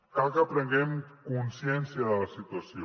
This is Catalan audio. cal que prenguem consciència de la situació